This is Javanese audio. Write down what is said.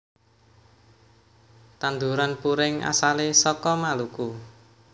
Tanduran puring asale saka Maluku